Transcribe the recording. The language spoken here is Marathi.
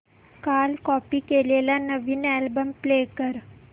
काल कॉपी केलेला नवीन अल्बम प्ले कर